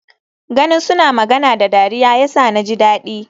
Ganin suna magana da dariya yasa naji dadi.